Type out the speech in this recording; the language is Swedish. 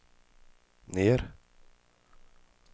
ner